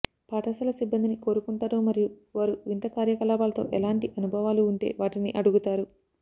పాఠశాల సిబ్బందిని కోరుకుంటారు మరియు వారు వింత కార్యకలాపాలతో ఎలాంటి అనుభవాలు ఉంటే వాటిని అడుగుతారు